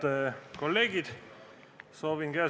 Head kolleegid!